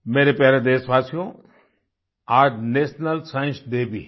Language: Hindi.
मेरे प्यारे देशवासियो आज नेशनल साइंस डे भी है